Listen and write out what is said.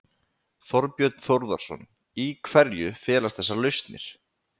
Þorbjörn Þórðarson: Í hverju felast þessar lausnir?